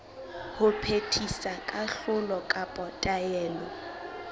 ho phethisa kahlolo kapa taelo